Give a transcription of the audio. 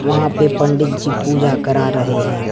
वहां पे पंडित जी पूजा करा रहे हैं।